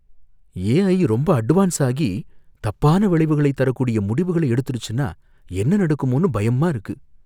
ஏ I ரொம்ப advance ஆகி, தப்பான விளைவுகளை தரக்கூடிய முடிவுகளை எடுத்துடுச்சுன்னா என்ன நடக்குமோன்னு பயமா இருக்கு.